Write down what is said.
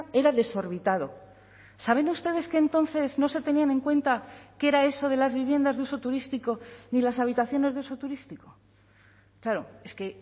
era desorbitado saben ustedes que entonces no se tenían en cuenta qué era eso de las viviendas de uso turístico ni las habitaciones de uso turístico claro es que